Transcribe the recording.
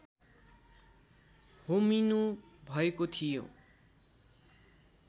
होमिनु भएको थियो